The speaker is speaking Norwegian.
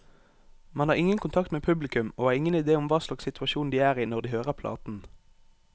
Man har ingen kontakt med publikum, og har ingen idé om hva slags situasjon de er i når de hører platen.